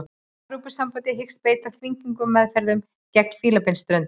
Evrópusambandið hyggst beita þvingunaraðferðum gegn Fílabeinsströndinni